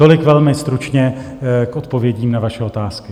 Tolik velmi stručně k odpovědím na vaše otázky.